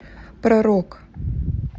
про рок